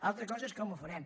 altra cosa és com ho farem